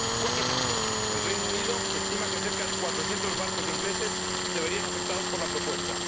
Cuatro ejemplos el Reino Unido estima que cerca de cuatrocientos barcos ingleses se verían afectados por la propuesta